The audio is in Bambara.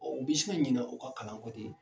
u bi se ka ɲina u ka kalan kɔ de?